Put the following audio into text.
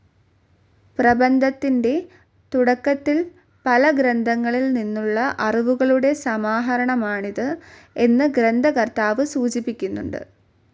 പ്രബന്ധത്തിന്റെ തുടക്കത്തിൽ, പല ഗ്രന്ഥങ്ങളിൽ നിന്നുള്ള അറിവുകളുടെ സമാഹരണമാണിത് എന്ന് ഗ്രന്ഥകർത്താവ് സൂചിപ്പിക്കുന്നുണ്ട്.